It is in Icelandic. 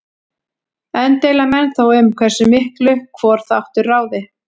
Enn deila menn þó um hversu miklu hvor þáttur ráði.